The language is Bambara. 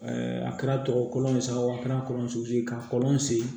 a kɛra tɔgɔ kolo ye sa o a kɛra kɔlɔnso ye k'a kɔlɔn sen